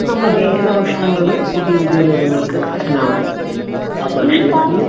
ഇന്ന് നമ്മൾ കഴിക്കുന്ന ഭക്ഷണങ്ങൾ പുതിയ പുതിയ രോഗങ്ങൾക്കു കാരണമാകുന്നു. ആ ഭക്ഷണത്തില്